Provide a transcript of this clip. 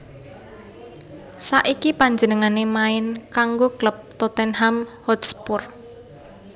Saiki panjenengané main kanggo klub Tottenham Hotspur